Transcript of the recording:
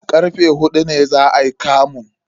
Karfe huɗu ne za ayi kamun.